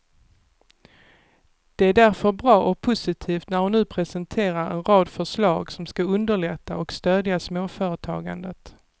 Det är därför bra och positivt när hon nu presenterar en rad förslag som skall underlätta och stödja småföretagandet.